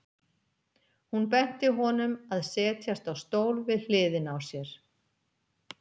Hún benti honum að setjast á stól við hliðina á sér.